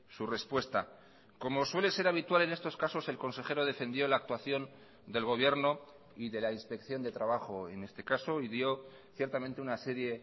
su respuesta como suele ser habitual en estos casos el consejero defendió la actuación del gobierno y de la inspección de trabajo en este caso y dio ciertamente una serie